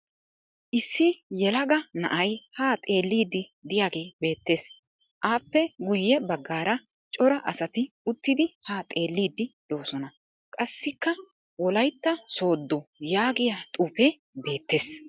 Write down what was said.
Issi yelaga na'ay haa xelliiddi diyagee beettes. Aappe guyye baggara cora asati uttidi haa xelliiddi doosona. Qassikka" wolayitta sooddo" yaagiya xuufee beettes.